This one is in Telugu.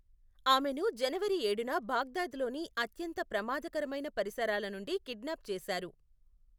ఆమెను జనవరి ఏడున బాగ్దాద్లోని అత్యంత ప్రమాదకరమైన పరిసరాల నుండి కిడ్నాప్ చేసారు.